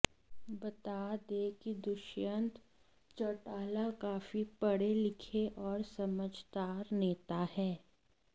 बता दें कि दुष्यंत चौटाला काफी पढ़े लिखे और समझदार नेता हैं